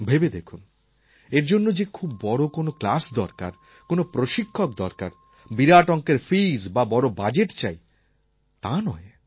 ভেবে দেখুন এর জন্য যে খুব বড় কোনও ক্লাস দরকার কোনও প্রশিক্ষক দরকার বিরাট অঙ্কের ফিজ্ বা বড় বাজেট চাই তা নয়